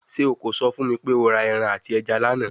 Ṣe o ko sọ fun mi pe o ra ẹran ati ẹja lana?